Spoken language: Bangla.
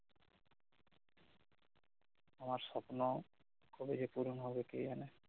আমার সপ্ন কবে যে পুরন হবে কে জানে